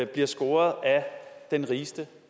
bliver scoret af den rigeste